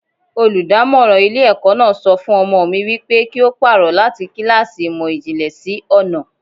Olùdámọ́ràn ilé ẹ̀kọ́ náà sọ fún ọmọ mi wípé kí ó pàrọ̀ láti kíláàsì ìmò ìjìnlẹ̀ sí ọnà.